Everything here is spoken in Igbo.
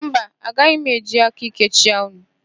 Mba, agaghị m eji aka íké chịa unu.